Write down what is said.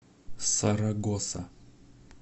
сарагоса